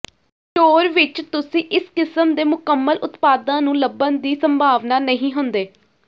store ਵਿਚ ਤੁਸੀਂ ਇਸ ਕਿਸਮ ਦੇ ਮੁਕੰਮਲ ਉਤਪਾਦਾਂ ਨੂੰ ਲੱਭਣ ਦੀ ਸੰਭਾਵਨਾ ਨਹੀਂ ਹੁੰਦੇ